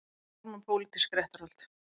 Harma pólitísk réttarhöld